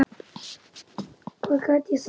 Hvað get ég sagt.